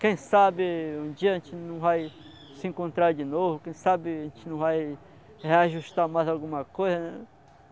Quem sabe um dia a gente não vai se encontrar de novo, quem sabe a gente não vai reajustar mais alguma coisa.